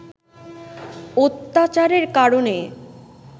অত্যাচারের কারণে